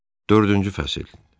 Dördüncü fəsil.